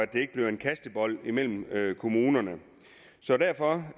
det ikke bliver en kastebold mellem kommunerne så derfor